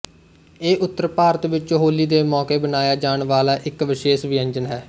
ਇਹ ਉੱਤਰ ਭਾਰਤ ਵਿੱਚ ਹੋਲੀ ਦੇ ਮੌਕੇ ਬਣਾਇਆ ਜਾਣ ਵਾਲਾ ਇੱਕ ਵਿਸ਼ੇਸ਼ ਵਿਅੰਜਨ ਹੈ